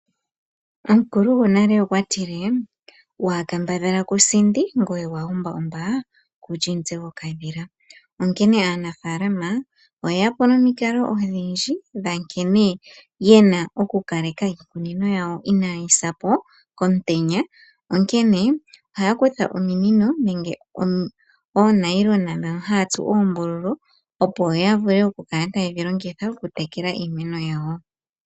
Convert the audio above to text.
Omukulu gonale okwa tile: "Waa kambadhala ku sindi, ngoye waa umba umba ku li omutse gokadhila," onkene aanafaalama oye ya po nomikalo odhindji dha nkene ye na okukaleka iikunino yawo inaya sa po komutenya. Onkene ohaya kutha ominino nenge oonayilona ndhono haya tsu oombululu, opo ya vule okukala taye dhi longitha okutekela iimeno yawo.